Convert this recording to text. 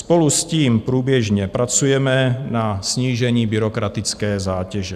Spolu s tím průběžně pracujeme na snížení byrokratické zátěže.